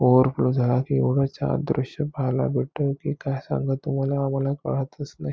Over फो झाला कि एवढच दृश्य पाहायला भेटत कि काय सांगू तुम्हला आम्हला काळातच नाही.